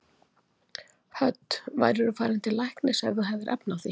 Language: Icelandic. Hödd: Værirðu farinn til læknis ef þú hefðir efni á því?